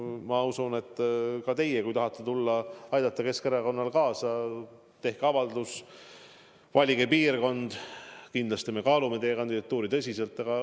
Ma usun, et kui te tahate tulla ja aidata Keskerakonna tegevusele kaasa, siis tehke avaldus, valige piirkond, ja kindlasti me kaalume teie kandidatuuri tõsiselt.